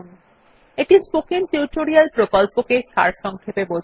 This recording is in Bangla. এটি স্পোকেন টিউটোরিয়াল প্রকল্পটি সারসংক্ষেপে বোঝায়